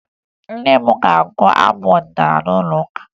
Nne m ga-agụ abụ ọdịnaala n'ụlọụka